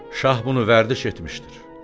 “Şah bunu vərdiş etmişdir.